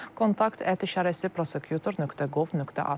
Kontakt @prosecutor.gov.az.